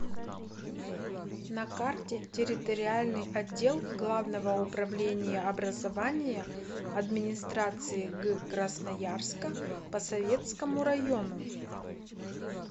на карте территориальный отдел главного управления образования администрации г красноярска по советскому району